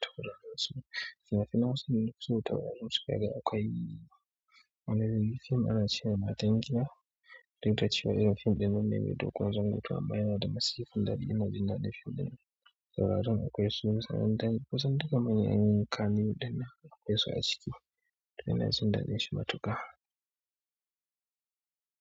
Ni hausa fim ɗin nafiso akwai wani fim ana cemai mataimakiya duk da cewa irin fim ɗin nan ne mai dogon zango amma yanada masifan daɗi inaji daɗin shi akwai kusa dukkan manya kannywood akwai su aciki.